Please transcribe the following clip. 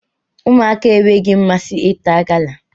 Ụmụaka enweghị mmasị na ịta gala